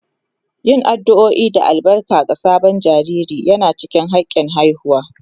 Yin addu'o'i da albarka ga sabon jariri yana cikin hakin haihuwa